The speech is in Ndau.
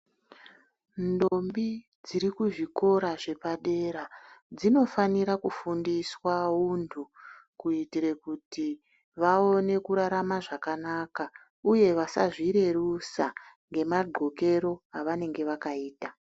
Ndombi dziri kuzvikora zvepadera dzinofanira kufundiswa untu kuitire kuti vaone kurarama zvakanaka uye vasazvirerusa nemagqokero avanenge vakaita.